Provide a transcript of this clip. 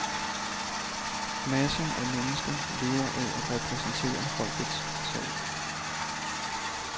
Masser af mennesker lever af at repræsentere folkets sag.